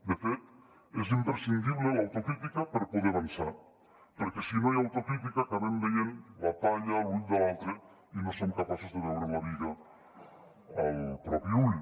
de fet és imprescindible l’autocrítica per poder avançar perquè si no hi ha autocrítica acabem veient la palla a l’ull de l’altre i no som capaços de veure la biga al propi ull